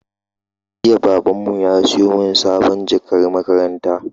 Jiya Babanmu ya siyo min sabuwar jakar makaranta